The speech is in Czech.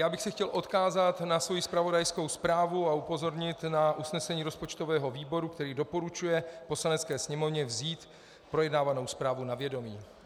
Já bych se chtěl odkázat na svou zpravodajskou zprávu a upozornit na usnesení rozpočtového výboru, který doporučuje Poslanecké sněmovně vzít projednávanou zprávu na vědomí.